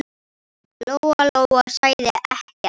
Lóa-Lóa sagði ekkert.